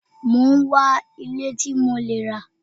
Mo ń wá ilẹ̀ tí mo lẹ́ rà